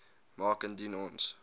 maak indien ons